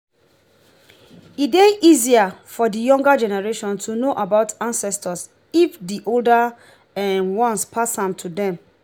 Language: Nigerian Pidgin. e dey easier for di younger generation to know about ancestor if di older um ones pass am to them